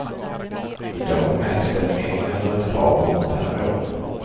I dag mäts den en eller ett par gånger per år.